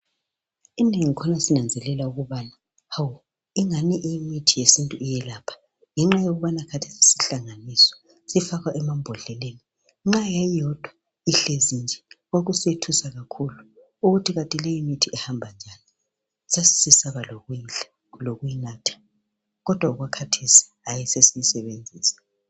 Inengi khona sinanzelela ukubana hawu ingani imithi yesintu iyelapha ngenxa yokubana khathesi isihlanganiswa sifakwa emambodleleni, nxa yayiyodwa ihlezi nje yayisethusa kakhulu ukuthi kathi leyi mithi kuhamba njani. Sasisesaba lokuyidla, lokuyinatha kodwa okwakhathesi sesiyisebenzisa.